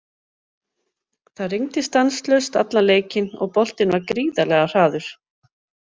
Það rigndi stanslaust allan leikinn og boltinn var gríðarlega hraður.